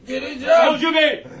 Girəcəm! Savcı bəy!